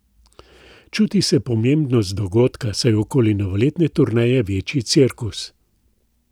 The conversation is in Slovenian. Čuti se pomembnost dogodka, saj je okoli novoletne turneje večji cirkus.